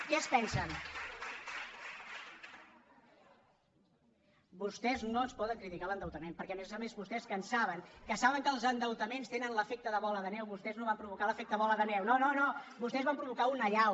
vostès no ens poden criticar l’endeutament perquè a més a més vostès que en saben que saben que els endeutaments tenen l’efecte de bola de neu vostès no van provocar l’efecte bola de neu no no vostès van provocar una allau